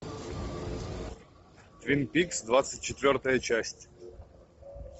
твин пикс двадцать четвертая часть